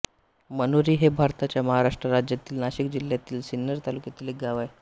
मनोरी हे भारताच्या महाराष्ट्र राज्यातील नाशिक जिल्ह्यातील सिन्नर तालुक्यातील एक गाव आहे